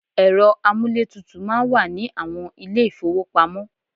Ẹ̀rọ amúlétutù máa ń wà ní àwọn ilé-ìfówopamọ́.